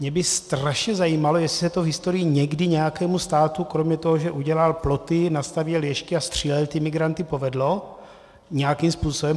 Mě by strašně zajímalo, jestli se to v historii někdy nějakému státu kromě toho, že udělal ploty, nastavěl ježky a střílel ty migranty, povedlo nějakým způsobem.